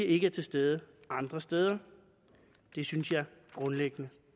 ikke er til stede andre steder det synes jeg grundlæggende